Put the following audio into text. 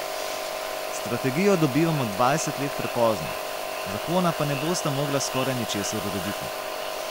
Strategijo dobivamo dvajset let prepozno, zakona pa ne bosta mogla skoraj ničesar urediti.